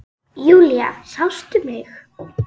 Júlía, sástu mig?